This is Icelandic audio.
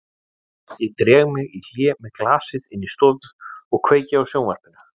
Ég dreg mig í hlé með glasið inn í stofu og kveiki á sjónvarpinu.